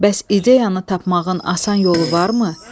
Bəs ideyanı tapmağın asan yolu varmı?